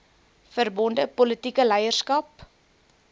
verbonde politieke leierskap